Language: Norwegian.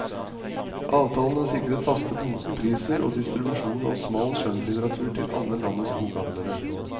Avtalen har sikret faste bokpriser og distribusjon av smal skjønnlitteratur til alle landets bokhandlere.